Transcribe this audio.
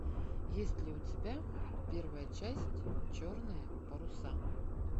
есть ли у тебя первая часть черные паруса